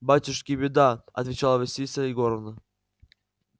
батюшки беда отвечала василиса егоровна